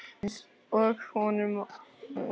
Einsog honum um hana.